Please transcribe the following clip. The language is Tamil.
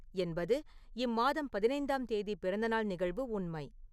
என்பது இம்மாதம் பதினைந்தாம் தேதி பிறந்தநாள் நிகழ்வு உண்மை